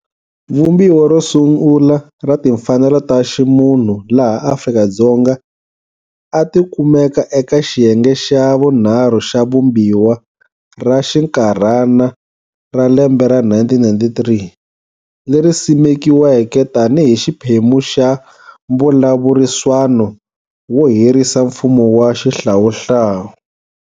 Vumbiwa ro sungula ra Timfanelo ta ximunhu laha Afrika-Dzonga, a tikumeka eka xiyenge xa vunharhu xa vumbiwa ra xinkarhana ra lembe ra 1993, leri simekiweke tani hi xiphemu xa mbulavuriswano wo herisa mfumo wa xihlawuhlawu.